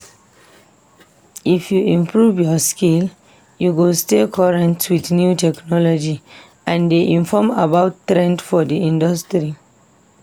If you improve your skill, you go stay current with new technology, and dey informed about trends for di industry.